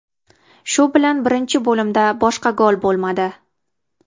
Shu bilan birinchi bo‘limda boshqa gol bo‘lmadi.